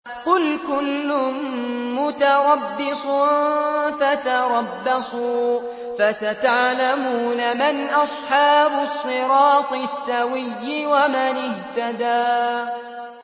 قُلْ كُلٌّ مُّتَرَبِّصٌ فَتَرَبَّصُوا ۖ فَسَتَعْلَمُونَ مَنْ أَصْحَابُ الصِّرَاطِ السَّوِيِّ وَمَنِ اهْتَدَىٰ